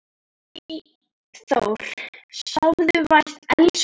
Eyþór, sofðu vært elsku vinur.